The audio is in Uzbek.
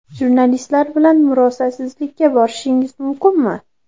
Jurnalistlar bilan murosasizlikka borishingiz mumkinmi?